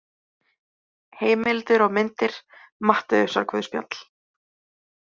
Heimildir og myndir Matteusarguðspjall.